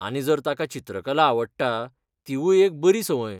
आनी, जर ताका चित्रकला आवडटा, तीवूय एक बरी सवंय.